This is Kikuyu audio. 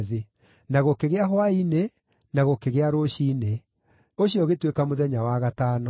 Na gũkĩgĩa hwaĩ-inĩ na gũkĩgĩa rũciinĩ. Ũcio ũgĩtuĩka mũthenya wa gatano.